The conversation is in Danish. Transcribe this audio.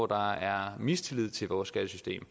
der er mistillid til vores skattesystem